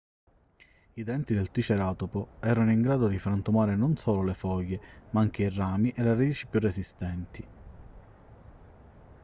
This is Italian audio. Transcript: i denti del triceratopo erano in grado di frantumare non solo le foglie ma anche i rami e le radici più resistenti